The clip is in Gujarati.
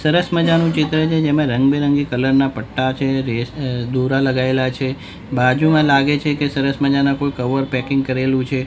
સરસ મજાનું ચિત્ર છે જેમાં રંગબીરંગી કલર ના પટ્ટા છે રેસ અ દોરા લગાયેલા છે બાજુમાં લાગે છે કે સરસ મજાના કોઈ કવર પેકિંગ કરેલું છે.